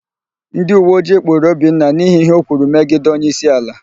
Ndịuweojii kpụụrụ Obinna n'ihi íhé o kwuru megide onyeísíala.